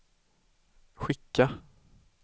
skicka